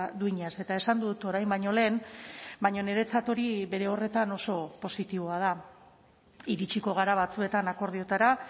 duinaz eta esan dut orain baino lehen baina niretzat hori bere horretan oso positiboa da iritsiko gara batzuetan akordioetara